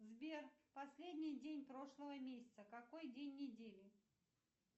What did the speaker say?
сбер последний день прошлого месяца какой день недели